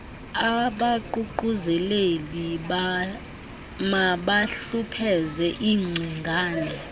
abaququzeleli mabahlupheze iingcingane